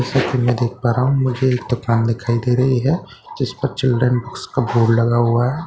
जैसे कि मैं देख पा रहा हूँ मुझे एक दुकान दिखाई दे रही है जिस पर चिल्ड्रन बुक्स का बोर्ड लगा हुआ है।